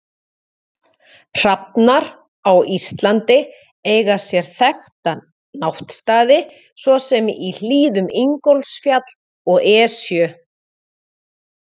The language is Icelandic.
Hrafnar á Íslandi eiga sér þekkta náttstaði svo sem í hlíðum Ingólfsfjalls og Esju.